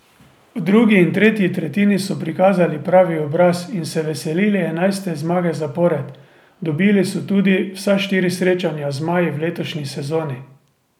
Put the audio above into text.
V drugi in tretji tretjini so prikazali pravi obraz in se veselili enajste zmage zapored, dobili so tudi vsa štiri srečanja z zmaji v letošnji sezoni.